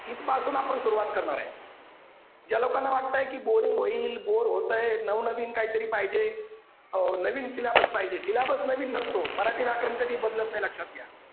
इथपासून आपण सुरुवात करणार आहे. ज्या लोकांना वाटतंय की boring होईल बोर होतय नवनवीन काहीतरी पाहिजे अह नवीन syllabus पाहिजे syllabus नवीन नसतो मराठी व्याकरण कधीच बदलत नाही लक्षात घ्या.